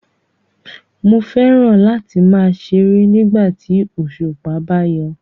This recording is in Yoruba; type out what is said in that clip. Mo fẹ́ràn láti láti máa ṣeré nígbà tí òṣùpá bá yọ